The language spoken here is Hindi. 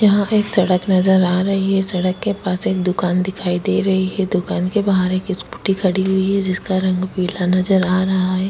यहाँ पे एक सड़क नज़र आ रही है सड़क के पास एक दुकान दिखाई दे रही है दुकान के बहार एक स्कूटी खड़ी हुई है जिसका रंग पीला नज़र आ रहा है।